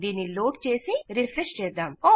దీన్ని లోడ్ చేసిరిఫ్రెష్ చేద్దాం